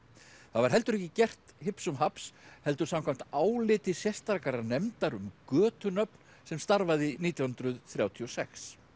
það var heldur ekki gert heldur samkvæmt áliti sérstakrar nefndar um götunöfn sem starfaði nítján hundruð þrjátíu og sex